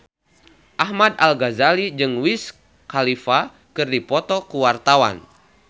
Ahmad Al-Ghazali jeung Wiz Khalifa keur dipoto ku wartawan